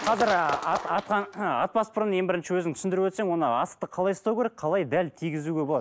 қазір ы атпас бұрын ең бірінші өзің түсіндіріп өтсең оны асықты қалай ұстау керек қалай дәл тигізуге болады